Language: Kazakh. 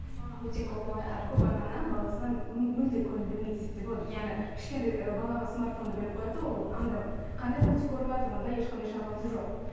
көп ата ана баласына мүлде көңіл бөлмейді десек те болады өйткені кішкентай балаға смартфонды беріп қояды да ол анда қандай мультик көріватыр онда ешқандай шаруасы жоқ